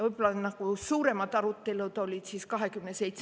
Võib-olla suuremad arutelud olid [25.